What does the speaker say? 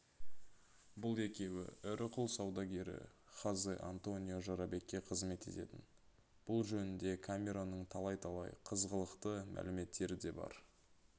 бұл екеуі ірі құл саудагері хозе-антонио жорабекке қызмет ететін бұл жөнінде камеронның талай-талай қызғылықты мәліметтері де бар